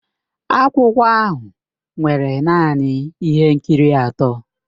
Akwụkwọ ahụ nwere naanị ihe nkiri atọ.